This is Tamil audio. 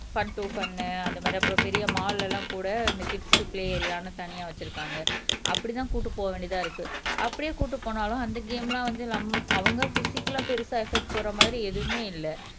ஃபன் டு ஃபன் அந்த மாதிரி அப்புறம் பெரிய மால் எல்லாம் கூட இந்த கிட்ஸ் பிலே ஏரியான்னு தனியா வச்சிருக்காங்க அப்படித்தான் கூட்டிட்டு போக வேண்டியதா இருக்கு. அப்படியே கூட்டிட்டு போனாலும் அந்த கேம் எல்லாம் வந்து நம் அவுங்க பிஸிக்கல்லா பெருசா எபக்ட் போற மாதிரி எதுவுமே இல்ல